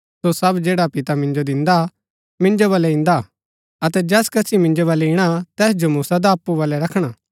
सो सब जैडा पिता मिन्जो दिन्दा मिन्जो बलै ईन्दा अतै जैस कसी मिन्जो बलै ईणा तैस जो मूँ सदा अप्पु बलै रखणा